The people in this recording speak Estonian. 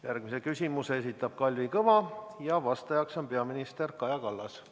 Järgmise küsimuse esitab Kalvi Kõva ja vastajaks on peaminister Kaja Kallas.